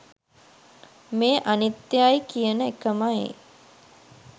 මේ අනිත්‍යයයි කියන එකමයි.